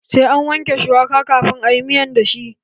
Sai an wanke shuwaka kafin a yi miya da shi.